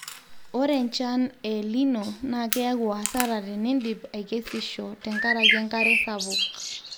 ore enchan e el nino naa keyau hasara tenidip aikesisho tenkaraki enkare sapuk